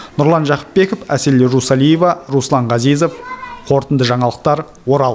нұрлан жақыпбеков әсел русалиева руслан газизов қорытынды жаңалықтар орал